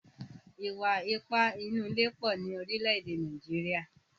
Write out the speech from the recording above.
Ìwà ipá nínú ilé pọ̀ ní orílẹ̀ èdè Nàìjíríà.